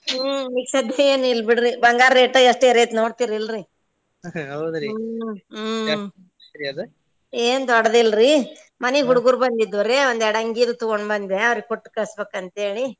ಹ್ಮ್ ಈಗ ಸದ್ಯೆ ಏನು ಇಲ್ಲ ಬಿಡ್ರಿ ಬಂಗಾರ rate ಎಷ್ಟ ಏರೇತಿ ನೋಡ್ತೀರ ಇಲ್ರಿ ಹ್ಮ್ ಏನ್ ದೊಡ್ಡದ್ ಇಲ್ರಿ ಮನಿಗ್ ಹುಡ್ಗೊರ್ ಬಂದಿದ್ದುರಿ ಒಂದ್ ಯ್ಯಾರ್ಡ ಅಂಗಿನೂ ತುಗೊಂಡ್ ಬಂದೆ ಅವ್ರಿಗ್ ಕೊಟ್ಟ್ ಕಳ್ಸಬೇಕ್ ಅಂತೇಳಿ.